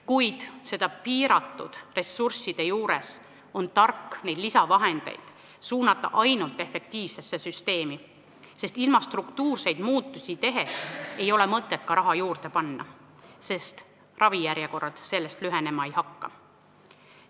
Kuid piiratud ressursside juures on tark neid lisavahendeid suunata ainult efektiivsesse süsteemi, sest ilma struktuurseid muudatusi tegemata ei ole mõtet raha juurde panna, ravijärjekorrad siis lühenema ei hakka.